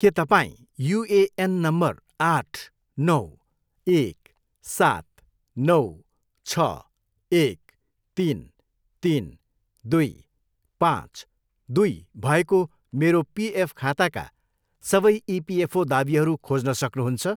के तपाईँँ UAN number आठ, नौ, एक, सात, नौ, छ, एक, तिन, तिन, दुई, पाँच, दुई भएको मेरो पिएफ खाताका सबै इपिएफओ दावीहरू खोज्न सक्नुहुन्छ